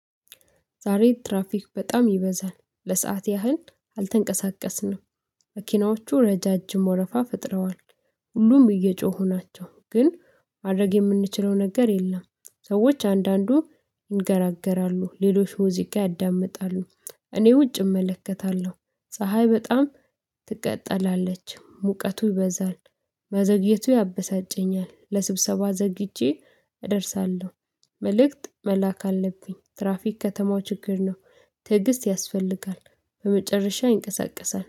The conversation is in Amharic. ዛሬ ትራፊክ በጣም ይበዛል ለሰአት ያህል አልተንቀሳቀስንም መኪናዎቹ ረዣዥም ወረፋ ፈጥረዋል ሁሉም እየጮሁ ናቸው ግን ማድረግ የምንችለው ነገር የለም። ሰዎች አንዳንዱ ይነጋገራሉ ሌሎች ሙዚቃ ያዳምጣሉ። እኔ ውጭ እመለከታለሁ ፀሀይ በጣም ታቃጥላለች ሙቀቱ ይበዛል። መዘግየቱ ያበሳጨኛል ለስብሰባ ዘግይቼ እደርሳለሁ። መልእክት መላክ አለብኝ ትራፊክ ከተማው ችግር ነው። ትዕግስት ያስፈልጋል በመጨረሻ ይንቀሳቀሳል